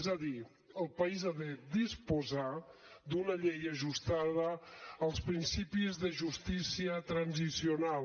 és a dir el país ha de disposar d’una llei ajustada als principis de justícia transicional